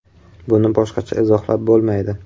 Buni boshqacha izohlab bo‘lmaydi.